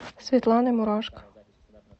светланой мурашко